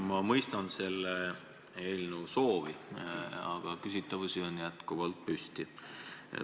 Ma mõistan selle eelnõu vastuvõtmise soovi, aga küsitavusi on jätkuvalt.